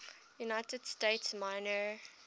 united states minor